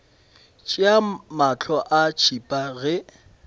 tšea mahlo a tšhipa ge